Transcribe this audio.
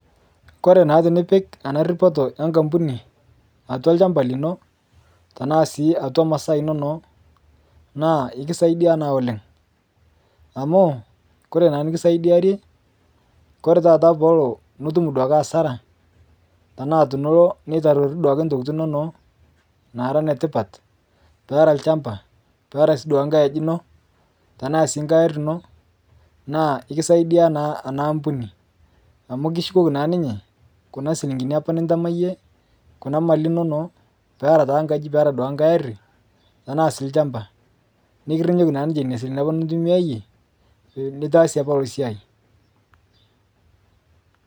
kore naa tinipik anaa ripoto enkampunii atua lshampa linoo, tanaa sii atua masaa inono naa ikisaidia naa oleng amu kore naa nikisaidiarie kore taata peelo nitum duake hasara [sc] tanaa inilo neitarorii ntokitii inonoo naara netipat, peera lshampa peera sii duake nghai aji ino, tanaa sii ng'ai arii inoo naa ikisaidia naa anaa ampunii amu kishukokii naa ninyee kuna silinkinia apaa nintamaa yie kuna mali inono pearaa taa nkajii peara ng'ai arii tanaa sii lshampa. Nikirinyoki naa ninshe nenia silinkini apa nintumiayee litaasie apaa iloo siai.